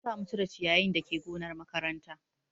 An sa mu cire ciyayin dake gonar makaranta